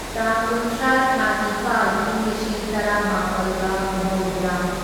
ꯇꯥꯡ ꯀꯨꯟꯊ꯭ꯔꯥ ꯊꯥ ꯅꯤꯄꯥꯜ ꯢꯪ ꯂꯤꯁꯤꯡ ꯇꯔꯥꯃꯥꯄꯜꯒ ꯃꯧꯗ꯭ꯔꯥ